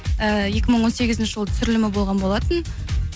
э екі мың он сегізінші жылы түсірілімі болған болатын